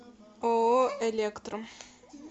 ооо электрум